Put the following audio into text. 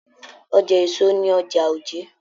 Ọja èso ní ọjà Òjé.